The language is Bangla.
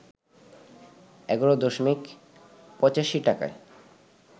১১ দশমিক ৮৫ টাকায়